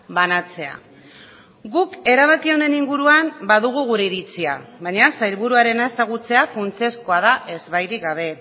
banatzea guk erabaki honen inguruan badugu gure iritzia baina sailburuarena ezagutzea funtsezkoa da ezbairik gabe